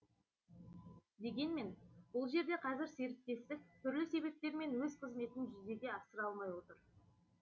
дегенмен бұл жерде қазір серіктестік түрлі себептермен өз қызметін жүзеге асыра алмай отыр